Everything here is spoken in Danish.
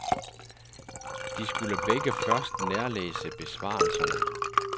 De skulle begge først nærlæse besvarelserne.